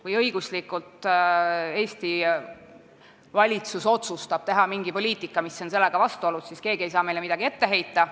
Kui Eesti valitsus otsustab teha mingit poliitikat, mis on sellega vastuolus, siis ei saa keegi meile õiguslikult midagi ette heita.